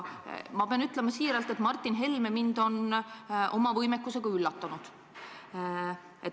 Ma pean ütlema siiralt, et Martin Helme on mind oma võimekusega üllatanud.